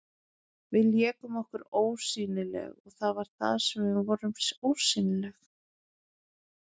Við lékum okkur ósýnileg, og það var það sem við vorum, ósýnileg.